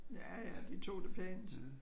Ja ja de tog det pænt